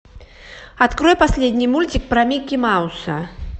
открой последний мультик про микки мауса